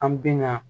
An bi na